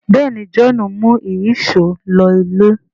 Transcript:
béèni John mú Ìyíṣòó ló ilé